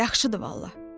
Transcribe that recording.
Yaxşıdır vallah.